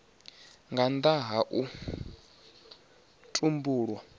nga nnda ha u tumbulwa